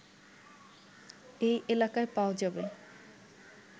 এই এলাকায় পাওয়া যাবে